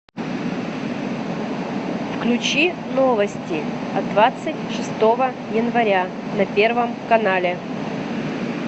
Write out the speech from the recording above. включи новости от двадцать шестого января на первом канале